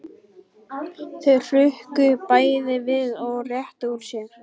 Þau hrukku bæði við og réttu úr sér.